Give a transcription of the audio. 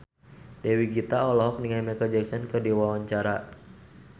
Dewi Gita olohok ningali Micheal Jackson keur diwawancara